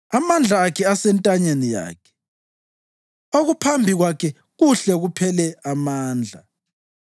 Amandla akhe asentanyeni yakhe; okuphambi kwakhe kuhle kuphele amandla.